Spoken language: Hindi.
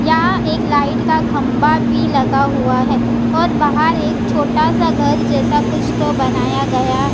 यहां एक लाइट का खंबा भी लगा हुआ है और बाहर एक छोटा सा घर जैसा कुछ तो बनाया गया --